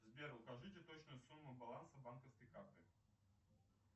сбер укажите точную сумму баланса банковской карты